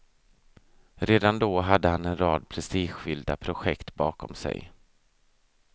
Redan då hade han en rad prestigefyllda projekt bakom sig.